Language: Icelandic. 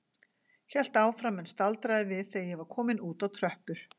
Hélt áfram en staldraði við þegar ég var kominn út á tröppur.